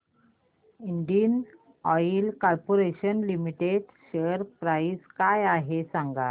Indian oil corporation limited share price काय आहे सांगा